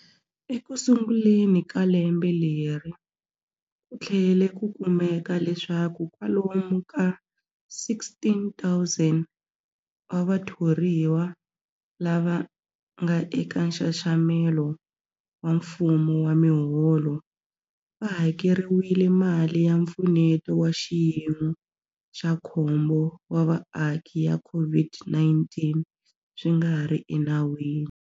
Ekusunguleni ka lembe leri, ku tlhele ku kumeka leswaku kwalomu ka 16,000 wa vathoriwa lava nga eka nxaxamelo wa mfumo wa miholo va hakeriwile mali ya Mpfuneto wa Xiyimo xa Khombo wa Vaaki ya COVID-19 swi nga ri enawini.